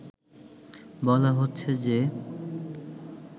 বলা হচ্ছে যে